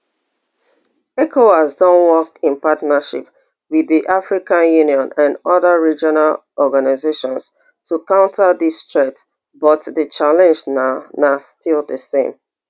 ecowas don work in partnership wit di african union and oda regional organisations to counter dis threats but di challenge na na still di same